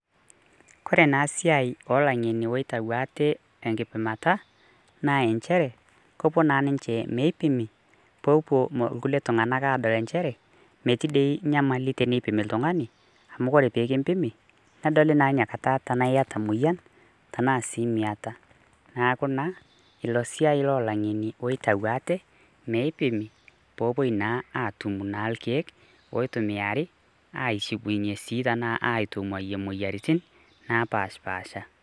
Kore enasiai olang'eni oitau ate tenkipimata, na injere, kopuo na ninche meipimi, popuo irkulie tung'anak adol injere, metii di nyamali teneipimi oltung'ani, amu ore pekimpimi, nedoli na tinakata tenaa yata emoyian, tanaa si miata. Neeku naa, ilo siai lo lang'eni oitau ate, meipimi, popuoi naa atum naa irkeek oitumiari, aishukunye tanaa aitung'uayie moyiaritin, napashipasha.